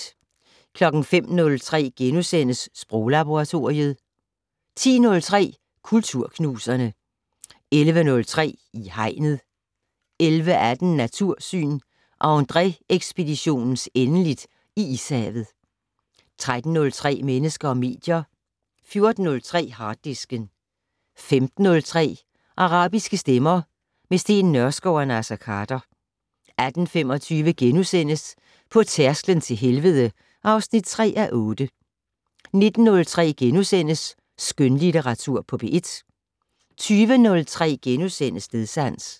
05:03: Sproglaboratoriet * 10:03: Kulturknuserne 11:03: I Hegnet 11:18: Natursyn: Andrée-ekspeditionens endeligt i Ishavet 13:03: Mennesker og medier 14:03: Harddisken 15:03: Arabiske stemmer - med Steen Nørskov og Naser Khader 18:25: På tærsklen til helvede (3:8)* 19:03: Skønlitteratur på P1 * 20:03: Stedsans *